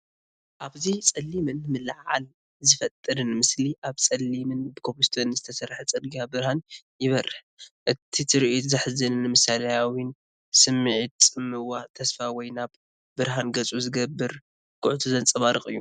ኣብዚ ጸሊምን ምልዕዓል ዝፈጥርን ምስሊ፡ ኣብ ጸሊምን ብኮብልስቶንን ዝተሰርሐ ጽርግያ ብርሃን ይበርህ። እቲ ትርኢት ዘሕዝንን ምሳልያዊን ስምዒት ጽምዋ፡ ተስፋ ወይ ናብ ብርሃን ገጹ ዝግበር ጉዕዞ ዘንጸባርቕ እዩ።